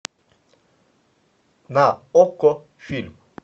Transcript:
на окко фильм